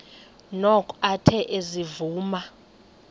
noko athe ezivuma